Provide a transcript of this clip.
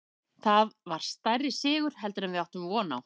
Þetta var stærri sigur heldur en við áttum von á.